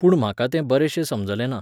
पूण म्हाका तें बरेंशें समजलें ना.